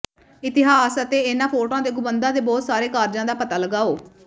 ਇਤਿਹਾਸ ਅਤੇ ਇਹਨਾਂ ਫੋਟੋਆਂ ਦੇ ਗੁੰਬਦਾਂ ਦੇ ਬਹੁਤ ਸਾਰੇ ਕਾਰਜਾਂ ਦਾ ਪਤਾ ਲਗਾਓ